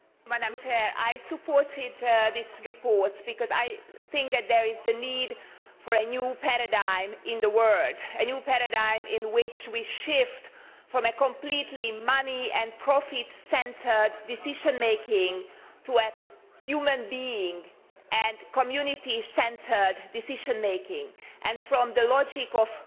Madam President, I supported this report because I think that there is a need for a new paradigm in the world a new paradigm in which we shift from completely money and profit centred decision making to human being and community centred decision making, and from the logic of